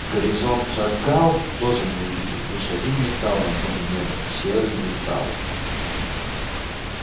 горизонта агал тоже не увидел один лишь металл на фоне неба серый металл